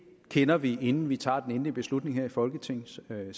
kender vi inden vi tager den endelige beslutning her i folketingssalen